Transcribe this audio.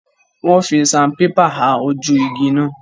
Wọ́n fi sanpépà ha ojú igi náà.